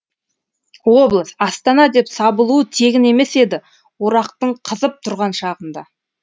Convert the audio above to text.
облыс астана деп сабылуы тегін емес еді орақтың қызып тұрған шағында